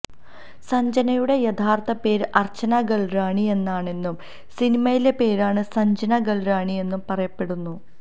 സഞ്ജനയുടെ യഥാര്ഥ പേര് അര്ച്ചന ഗല്റാണിയെന്നാണെന്നും സിനിമയിലെ പേരാണ് സഞ്ജന ഗല്റാണിയെന്നും പറയപ്പെടുന്നു